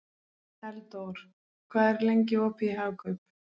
Eldór, hvað er lengi opið í Hagkaup?